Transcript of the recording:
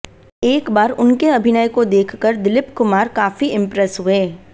एक बार उनके अभिनय को देखकर दिलीप कुमार काफी इंप्रेस हुए